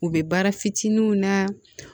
U bɛ baara fitininw na